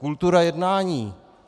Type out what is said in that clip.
Kultura jednání.